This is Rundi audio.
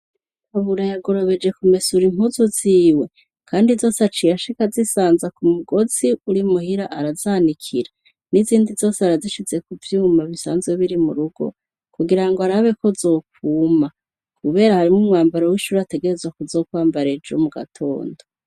Pabura yagorobeje kumesura impuzu ziwe .kandi zose aciye ashika Azisanza ku mugozi uri muhira arazanikira n'izindi zose arazishize ku byuma bisanzwe biri mu rugo kugira ngo arabeko zokuma kubera harimo umwambaro w'ishuri ategerezwa ko zokwambara ejo mu gatondo.